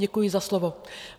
Děkuji za slovo.